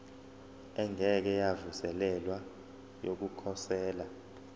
engeke yavuselelwa yokukhosela